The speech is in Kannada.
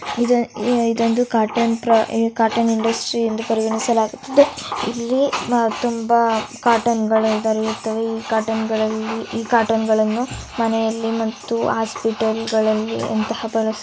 ಇದೊಂದು ಕಾಟನ್ ಇಂಡಸ್ಟ್ರಿ ಎಂದು ಪರಿಗಣಿಸಲಾಗುತ್ತದೆ ಇಲ್ಲಿ ತುಂಬಾ ಕಾಟನ್ಗಳು ದೊರೆಯುತ್ತವೆ ಈ ಕಾಟನನ್ನು ಮನೆಗಳಲ್ಲಿ ಹಾಸ್ಪಿಟಲ್ಗಳಲ್ಲಿ ಬಳಸುತ್ತಾರೆ